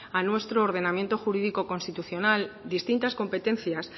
a nuestro ordenamiento jurídico constitucional distintas competencias